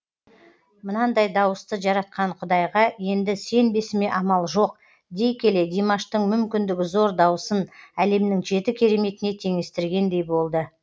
мынандай дауысты жаратқан құдайға енді сенбесіме амал жоқ дей келе димаштың мүмкіндігі зор дауысын әлемнің жеті кереметіне теңестіргендей болды